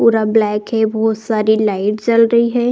पूरा ब्लैक है। बोहोत सारी लाइट जल रही है।